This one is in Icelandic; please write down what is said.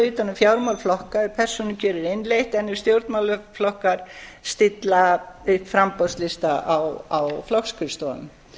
utan um fjármál flokka ef persónukjör er innleitt en ef stjórnmálaflokkar stilla framboðslista á flokksskrifstofum